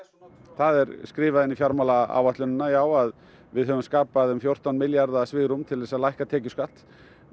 það er skrifað inn í fjármálaáætlun já að við höfum skapað um fjórtán milljarða svigrúm til þess að lækka tekjuskatt